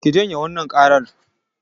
Ki janye wannan ƙaran!